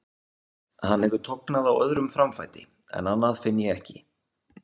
Hann hefur tognað á öðrum framfæti en annað finn ég ekki.